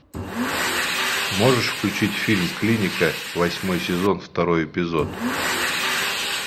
можешь включить фильм клиника восьмой сезон второй эпизод